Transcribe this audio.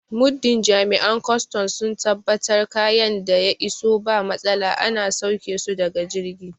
Muddin Jami'an kwaston sun tabbatar kayan da ya iso ba matsala ana sauƙe su daga jirgi